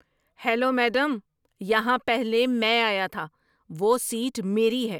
Hello madam, یہاں پہلے میں آیا تھا۔ وہ سیٹ میری ہے۔